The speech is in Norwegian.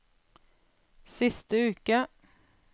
siste uke